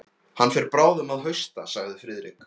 Hann fer bráðum að hausta sagði Friðrik.